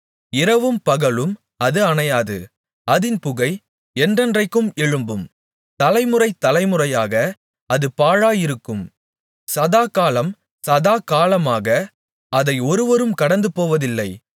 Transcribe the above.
இரவும் பகலும் அது அணையாது அதின் புகை என்றென்றைக்கும் எழும்பும் தலைமுறை தலைமுறையாக அது பாழாயிருக்கும் சதாகாலம் சதாகாலமாக அதை ஒருவரும் கடந்துபோவதில்லை